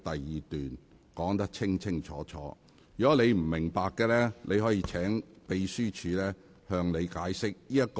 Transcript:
如果你不明白，可以請秘書處向你解釋。